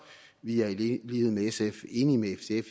vi er enige med sf